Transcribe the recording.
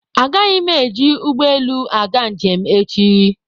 Agaghị m eji ụgbọelu aga njem echi.